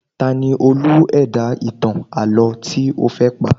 Ta ni Olú ẹ̀dá ìtàn àlọ́ tí ó fẹ́ pa?